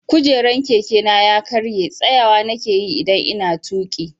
Kujeran Keke na ya karya, tsayawa na ke yi idan n'na tuki.